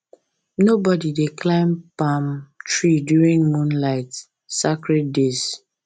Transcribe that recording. nobody dey climb palm tree during moonlight sacred days